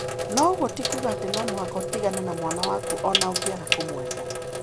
No ũguo ti kuuga atĩ no mũhaka ũtigane na mwana waku o na ũngĩaga kũmwenda,